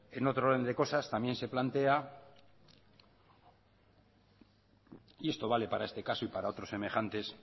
en otro orden de cosas también se plantea y esto vale para este caso y para otros semejantes